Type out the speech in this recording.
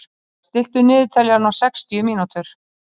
Lúsía, stilltu niðurteljara á sextíu mínútur.